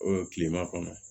kilema kɔnɔ